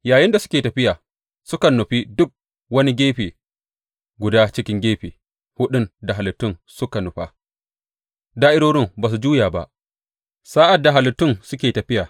Yayinda suke tafiya, sukan nufi duk wani gefe guda cikin gefe huɗun da halittun suka nufa; da’irorin ba za su juya ba sa’ad da halittun suke tafiya.